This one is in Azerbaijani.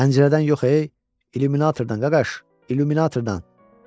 Pəncərədən yox e, illüminatordan qaqas, illüminatordan!